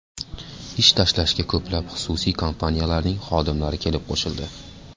Ish tashlashga ko‘plab xususiy kompaniyalarning xodimlari kelib qo‘shildi.